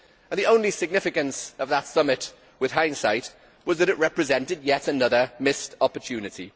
The only significance of that summit, with hindsight, was that it represented yet another missed opportunity.